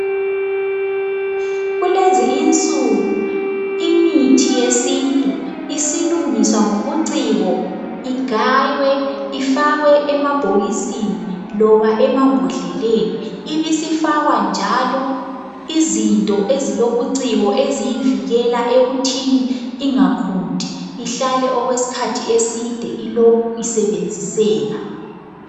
Kulezi insuku imithi yesintu, isilungiswa ngobuciko igaywe ifakwe emabhokisini loba emambodleleni ibisifakwa njalo izinto ezilobuciko eziyivikela ekuthini ingakhunti ihlale okwesikhathi eside ilokhu isebenziseka.